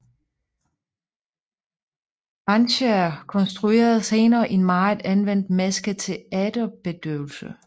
Wanscher konstruerede senere en meget anvendt maske til æterbedøvelse